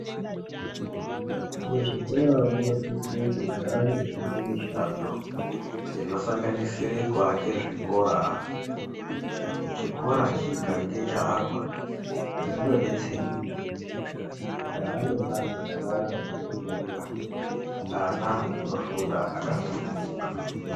Muzvikora munosise kugara muchiitwe mishando inosanganisire kuake zvikora. Chikora chikange chaakwa zvinodetsera kuti pakaa nembatso dzakawanda dzekufundira, ana anofunda akasununguka.